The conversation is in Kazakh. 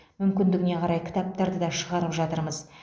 мүмкіндігіне қарай кітаптарды да шығарып жатырмыз